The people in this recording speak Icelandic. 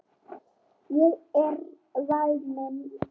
Ég er væmin.